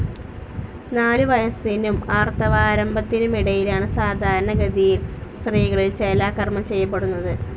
നാലുവയസ്സിനും ആർത്തവാരംഭത്തിനുമിടയിലാണ് സാധാരണഗതിയിൽ സ്ത്രീകളിൽ ചേലാകർമ്മം ചെയ്യപ്പെടുന്നത്.